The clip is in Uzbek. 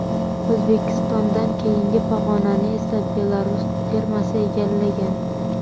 O‘zbekistondan keyingi pog‘onani esa Belarus termasi egallagan.